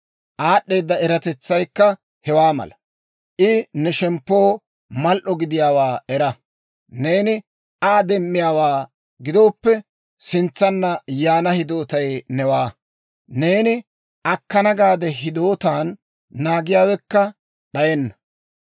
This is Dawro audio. Aad'd'eeda eratetsaykka hewaa mala; I ne shemppoo mal"o gidiyaawaa era. Neeni Aa demmiyaawaa gidooppe, sintsanna yaana hidootay newaa; neeni akkana gaade hidootan naagiyaawekka d'ayenna.